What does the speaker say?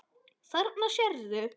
Þarna sérðu.